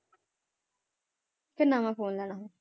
ਕਿ ਨਵਾਂ phone ਲੈਣਾ